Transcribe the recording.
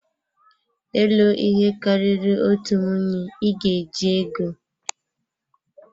Ịlụ ihe karịrị otu nwunye, ị ga-eji ego.